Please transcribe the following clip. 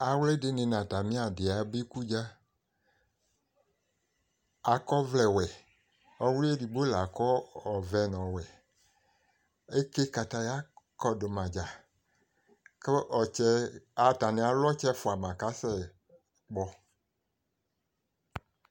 Awlɩ dɩnɩ n'atamɩ adɩ aba ikudza, akɔvlɛ wɛ, Ɔwlɩ edigbo lakɔ ɔvɛ n'ɔwɛ Eke kataya kɔdʋmadzaa, kʋ ɔtsɛ, stanɩ alʋ ɔtsɛ fuama k'asɛkpɔ